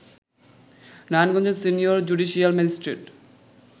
নারায়ণগঞ্জের senior judicial magistrate